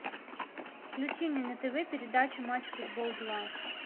включи мне на тв передачу матч футбол два